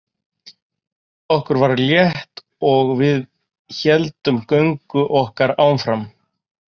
Okkur var létt og við héldum göngu okkar áfram.